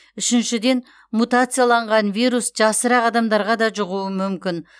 үшіншіден мутацияланған вирус жасырақ адамдарға да жұғуы мүмкін